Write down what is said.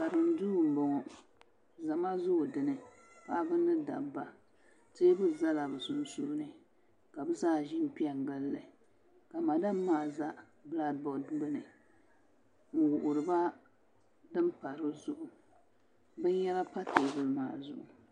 Karim duu n boŋo zama zoo dinni paɣaba ni dabba teebuli ʒɛla bi sunsuuni ka bi zaa ʒi n pɛ gilli ka madam maa ʒɛ bilak bood gbuni n wuhuriba din pa di zuɣu binyɛra pa teebuli maa zuɣu